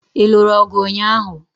Ị lụrụ ọgụ ụnyaahụ?